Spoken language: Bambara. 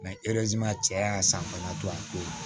cɛ y'a san bana to a bolo